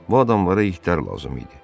Bu adamlara itər lazım idi.